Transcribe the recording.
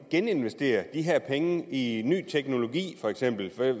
geninvestere de her penge for i ny teknologi